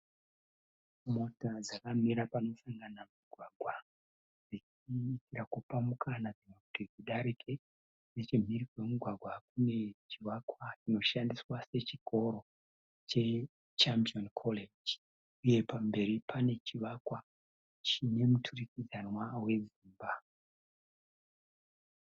Mota dzakamira panosangana mugwagwa dzichiedza kupa mukana dzimwe kuti dzidarike. Nechemhiri kwemugwagwa kunechivakwa chinoshandiswa sechikoro che Champion College. Uye pamberi pane chivakwa chine muturikidzanwa we dzimba.